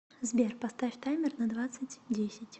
сбер поставь таймер на двадцать десять